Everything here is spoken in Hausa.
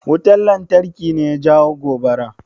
Wutan lantarki ne ya jawo gobarar?